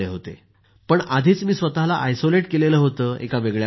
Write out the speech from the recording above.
आणि आधीच मी स्वतःला आयसोलेट केलं होतं एका वेगळ्या खोलीत